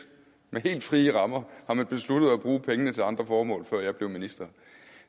med helt frie rammer har man besluttet at bruge pengene til andre formål før jeg blev minister